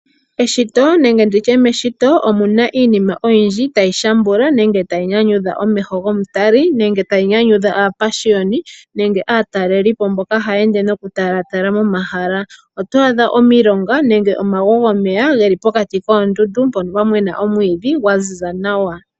Eshito nenge nditye meshishito omuna iinima oyindji tayi shambula nenge tayi nyanyudha omeho gomutali nenge tayi nyanyudha aapashiyoni nenge aatalelipo mboka haya ende noku talatala momahala. Oto adha omilonga nenge omagwo gomeya geli pokati koondundu mpono pwamena omwiidhi gwa ziza nawa.